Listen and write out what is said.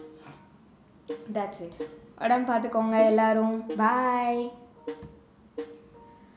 thats it உடம்பை பார்த்துகோங்க எல்லாரும் bye